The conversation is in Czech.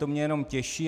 To mě jenom těší.